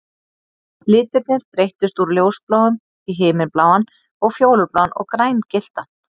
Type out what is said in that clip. Litirnir breyttust úr ljósbláum í himinbláan og fjólubláan og grængylltan